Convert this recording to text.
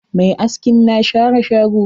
Mai askin na share shago.